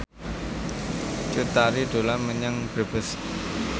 Cut Tari dolan menyang Brebes